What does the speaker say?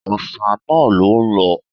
Òòṣà náà ló ń lọ